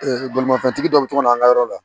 bolimafɛntigi dɔ bɛ to ka na an ka yɔrɔ la